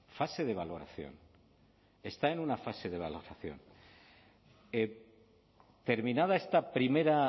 fase de valoración está en una fase de valoración terminada esta primera